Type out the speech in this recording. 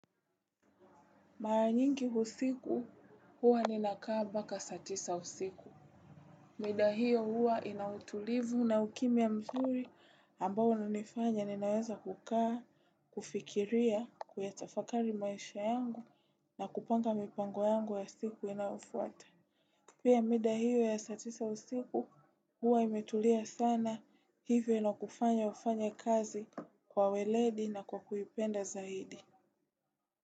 Mara nyingi usiku huwa ninakaa mpaka saa tisa usiku. Mida hio huwa ina utulivu na ukimya mzuri ambao hunifanya ninaweza kukaa, kufikiria, kuyatafakari maisha yangu na kupanga mipango yangu ya siku inayofuata. Pia mida hio ya saa tisa usiku huwa imetulia sana hivyo inakufanya ufanye kazi kwa weledi na kwa kuipenda zaidi.